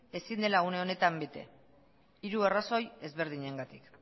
ezin dela une honetan bete hiru arrazoi ezberdinengatik